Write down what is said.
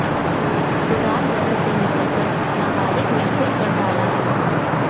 सुधार ग्रह से निकलकर नाबालिग ने फिर कर डाला रेप